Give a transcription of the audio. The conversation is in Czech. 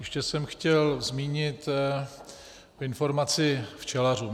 Ještě jsem chtěl zmínit informaci včelařům.